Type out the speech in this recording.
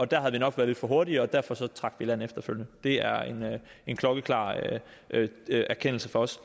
der har vi nok været lidt for hurtige og derfor trak vi i land efterfølgende det er en klokkeklar erkendelse fra os